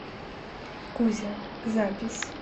кузя запись